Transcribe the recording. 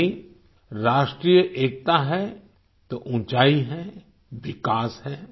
यानी राष्ट्रीय एकता है तो ऊँचाई है विकास है